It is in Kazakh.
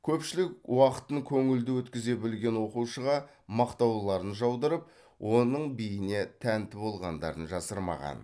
көпшілік уақытын көңілді өткізе білетін оқушыға мақтауларын жаудырып оның биіне тәнті болғандарын жасырмаған